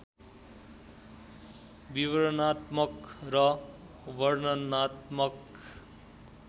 विवरणात्मक र वर्णनात्मक